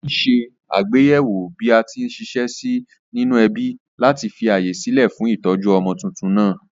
Alè ní se àgbéyéwò bí atí n siṣẹ́ sí nínú ẹbí láti fi ààyè sílè fún ìtójú ọmọ tuntun nàá